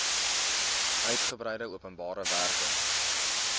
uitgebreide openbare werke